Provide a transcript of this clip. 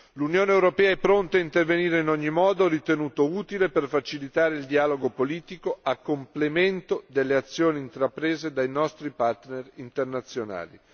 L'Unione europea è pronta a intervenire in ogni modo ritenuto utile per facilitare il dialogo politico, a complemento delle azioni intraprese dai nostri partner internazionali.